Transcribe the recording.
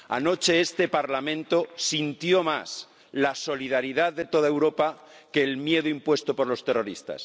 Anoche este Parlamento sintió más la solidaridad de toda Europa que el miedo impuesto por los terroristas.